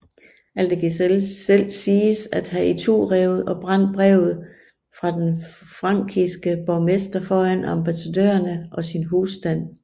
Aldegisel selv siges at have iturevet og brændt brevet fra den frankiske borgmester foran ambassadørerne og sin husstand